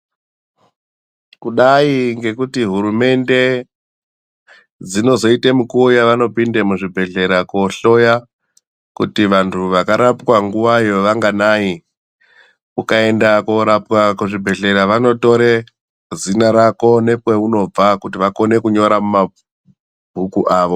Kudayi ngekuti hurumende dzinozoyite mukuwo yavanopinda muzvibhedhlera ,kohloya kuti vantu vakarapwa nguwayo vanganayi? Ukaenda korapwa kuzvibhedhlera ,vanotore zina rako nekweunobva kuti vakone kunyora mumabhuku avo.